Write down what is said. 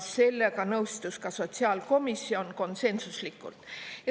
Sellega nõustus ka sotsiaalkomisjon konsensuslikult.